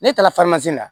Ne taara na